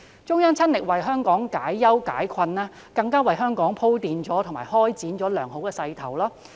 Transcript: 中央親力為香港解憂解困，更為香港鋪墊及開展良好的勢頭。